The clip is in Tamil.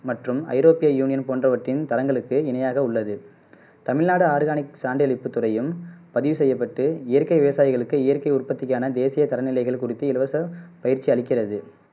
மற்றும் ஐரோப்பிய யூனியன் போன்றவற்றின் தலங்களுக்கு இணையாக உள்ளது தமிழ்நாடு ஆர்கானிக் சான்றிழிப்பு துறையும் பதிவு செய்யப்பட்டு இயற்கை விவசாயிகளுக்கு இயற்கை உற்பத்திக்கான தேசிய சரநிலைகள் குறித்து இலவச பயிற்சி அளிக்கிறது